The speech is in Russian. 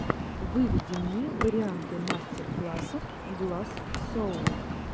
выведи мне варианты мастер классов гласс соул